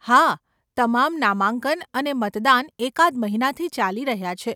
હા, તમામ નામાંકન અને મતદાન એકાદ મહિનાથી ચાલી રહ્યાં છે.